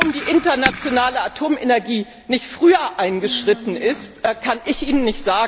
Warum die Internationale Atomenergiebehörde nicht früher eingeschritten ist, kann ich Ihnen